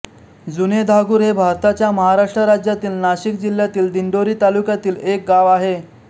जुनेधागुर हे भारताच्या महाराष्ट्र राज्यातील नाशिक जिल्ह्यातील दिंडोरी तालुक्यातील एक गाव आहे